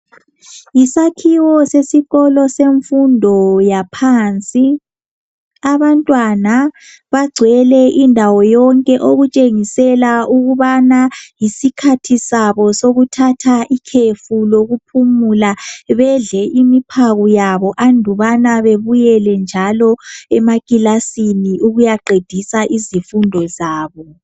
Yisakhiwo sesikolo semfundo yaphansi abantwana bagcwele indawo yonke okutshengisela ukubana yisikhathi sabo sokuthatha ikhefu lokuphumula bedle imiphako yabo andubana bebuyele njalo emakilasini ukuyaqedisa izifundo zabo.